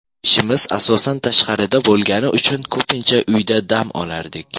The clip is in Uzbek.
Ishimiz asosan tashqarida bo‘lgani uchun ko‘pincha uyda dam olardik.